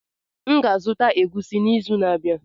M ga-azụta egwusi n'izu na-abịa.